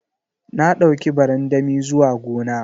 Na dauki barandami zuwa gona.